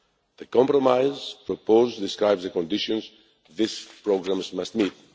The compromise proposed describes the conditions these programmes must meet.